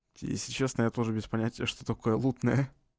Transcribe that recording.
если честно я тоже без понятия что такое лутная